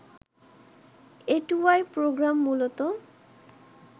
A two I program মূলত